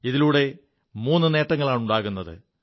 ഇതിലൂടെ മൂു നേങ്ങളാണുണ്ടാകുത്